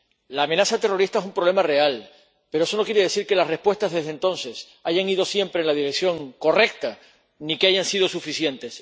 La amenaza terrorista es un problema real, pero eso no quiere decir que las respuestas dadas desde entonces hayan ido siempre en la dirección correcta, ni que hayan sido suficientes.